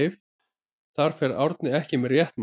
Þar fer Árni ekki með rétt mál.